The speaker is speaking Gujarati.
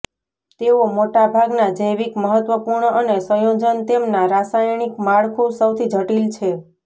તેઓ મોટા ભાગના જૈવિક મહત્વપૂર્ણ અને સંયોજન તેમના રાસાયણિક માળખું સૌથી જટિલ છે